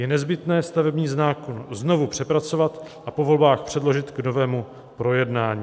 Je nezbytné stavební zákon znovu přepracovat a po volbách předložit k novému projednání."